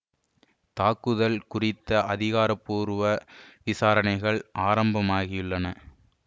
தாக்குதல் குறித்த அதிகாரபூர்வ விசாரணைகள் ஆரம்பமாகியுள்ளன